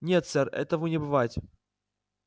нет сэр этому не бывать